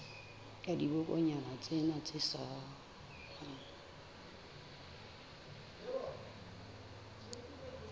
la dibokonyana tsena tse salang